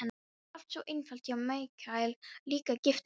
Það var allt svo einfalt hjá Michael, líka gifting.